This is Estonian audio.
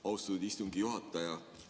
Austatud istungi juhataja!